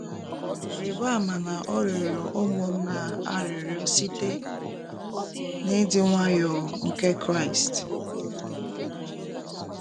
Rịba ama na ọ rịọrọ ụmụnna a arịrịọ site “ n’ịdị nwayọọ ” nke Kraịst.